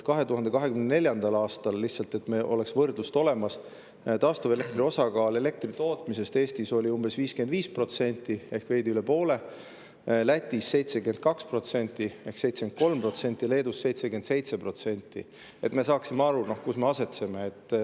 2024. aastal – lihtsalt, et meil oleks võrdlus olemas – taastuvelektri osakaal elektritootmises Eestis oli umbes 55% ehk veidi üle poole, Lätis 72% ehk 73%, Leedus 77%.